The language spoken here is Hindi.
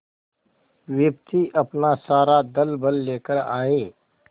विपत्ति अपना सारा दलबल लेकर आए